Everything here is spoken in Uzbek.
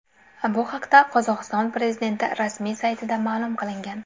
Bu haqda Qozog‘iston prezidenti rasmiy saytida ma’lum qilingan .